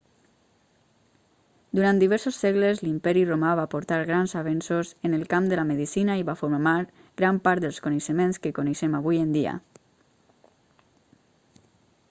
durant diversos segles l'imperi romà va portar grans avenços en el camp de la medicina i va formar gran part dels coneixements que coneixem avui en dia